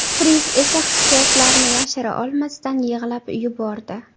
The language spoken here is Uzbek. Friz esa hissiyotlarini yashira olmasdan, yig‘lab yubordi.